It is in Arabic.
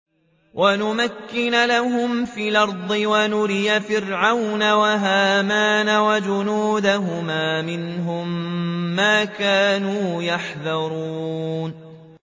وَنُمَكِّنَ لَهُمْ فِي الْأَرْضِ وَنُرِيَ فِرْعَوْنَ وَهَامَانَ وَجُنُودَهُمَا مِنْهُم مَّا كَانُوا يَحْذَرُونَ